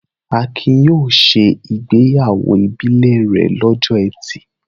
Akin yóò ṣe ìgbéyàwó ìbílẹ̀ rẹ̀ lọ́jọ́ ẹtì.